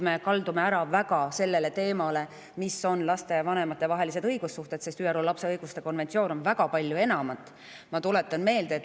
Me kaldume väga selle teema poole, et millised on lastevanemate vahelised õigussuhted, aga ÜRO lapse õiguste konventsioon on väga palju enamat.